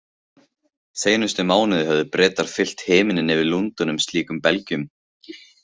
Seinustu mánuði höfðu Bretar fyllt himininn yfir Lundúnum slíkum belgjum.